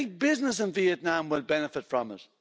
Big business in Vietnam will benefit from it.